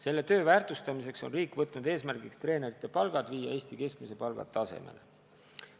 Selle töö väärtustamiseks on riik võtnud eesmärgiks viia treenerite palgad Eesti keskmise palga tasemele.